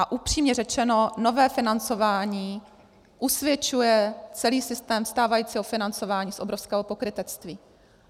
A upřímně řešeno, nové financování usvědčuje celý systém stávajícího financování z obrovského pokrytectví.